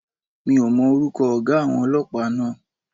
Mi ò mọ orúkọ ọ̀gá àwọn Ọlọ́pàá náà.